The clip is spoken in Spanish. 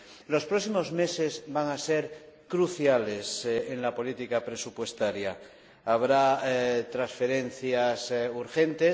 Los próximos meses van a ser cruciales en la política presupuestaria habrá transferencias urgentes